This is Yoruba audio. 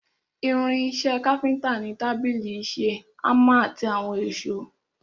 Irin ìṣe káfíntà ni tábìlì ìṣe, hámà àti àwọn èsó.